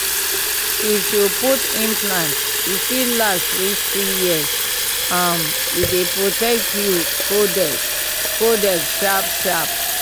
if you put implant e fit last reach three years um e dey protect you coded coded sharp sharp!